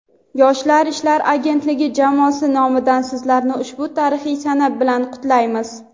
Yoshlar ishlari agentligi jamoasi nomidan Sizlarni ushbu tarixiy sana bilan qutlaymiz.